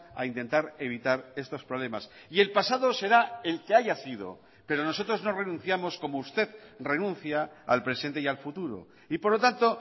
a intentar evitar estos problemas y el pasado será el que haya sido pero nosotros no renunciamos como usted renuncia al presente y al futuro y por lo tanto